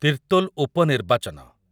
ତିର୍ତ୍ତୋଲ ଉପନିର୍ବାଚନ